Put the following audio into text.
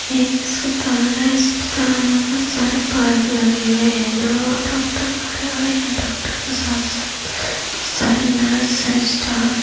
ये एक अस्पताल है । अस्पताल में बोहत सारे लगे हुए हैं जहां डॉक्टर खड़े हुए हैं । डॉक्टर के साथ साथ। बोहत सारे नर्स हैं स्टाफ --